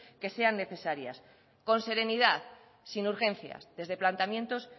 que sean necesarias con serenidad sin urgencias desde planteamientos